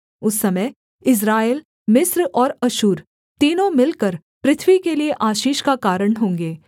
उस समय इस्राएल मिस्र और अश्शूर तीनों मिलकर पृथ्वी के लिये आशीष का कारण होंगे